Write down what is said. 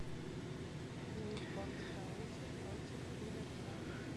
ньюпорт каунти против ливерпуль